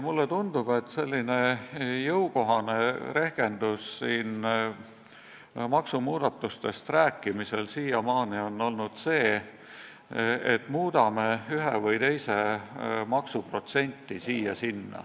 Mulle tundub, et jõukohane rehkendus maksumuudatustest rääkimisel on siiamaani olnud see, et muudame üht või teist maksu protsendi võrra siia-sinna.